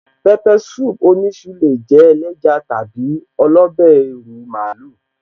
Pepper soup oníṣu lè jẹ́ ẹléja tàbí ọlọ́bẹ́ ìrù màálù